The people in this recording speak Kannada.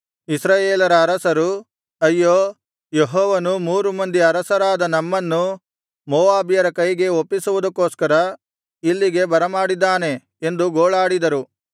ಇಸ್ರಾಯೇಲರ ಅರಸರು ಅಯ್ಯೋ ಯೆಹೋವನು ಮೂರು ಮಂದಿ ಅರಸರಾದ ನಮ್ಮನ್ನು ಮೋವಾಬ್ಯರ ಕೈಗೆ ಒಪ್ಪಿಸುವುದಕ್ಕೋಸ್ಕರ ಇಲ್ಲಿಗೆ ಬರಮಾಡಿದ್ದಾನೆ ಎಂದು ಗೋಳಾಡಿದರು